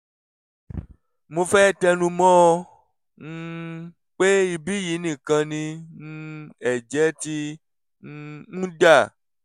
mo fẹ́ tẹnu mọ́ ọn um pé ibí yìí nìkan ni um ẹ̀jẹ̀ ti um ń dà